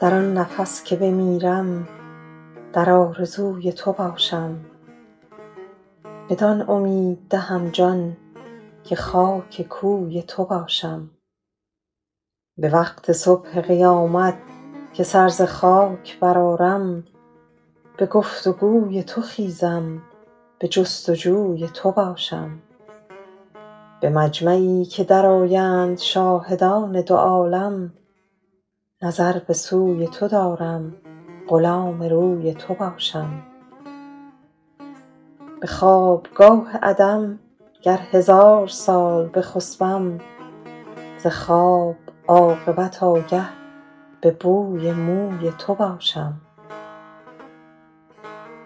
در آن نفس که بمیرم در آرزوی تو باشم بدان امید دهم جان که خاک کوی تو باشم به وقت صبح قیامت که سر ز خاک برآرم به گفت و گوی تو خیزم به جست و جوی تو باشم به مجمعی که درآیند شاهدان دو عالم نظر به سوی تو دارم غلام روی تو باشم به خوابگاه عدم گر هزار سال بخسبم ز خواب عاقبت آگه به بوی موی تو باشم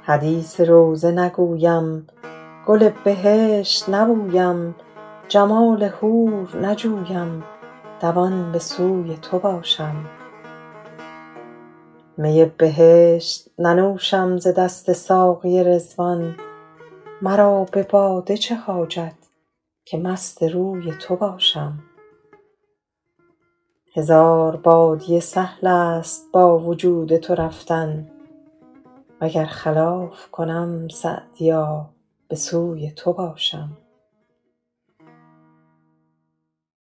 حدیث روضه نگویم گل بهشت نبویم جمال حور نجویم دوان به سوی تو باشم می بهشت ننوشم ز دست ساقی رضوان مرا به باده چه حاجت که مست روی تو باشم هزار بادیه سهل است با وجود تو رفتن و گر خلاف کنم سعدیا به سوی تو باشم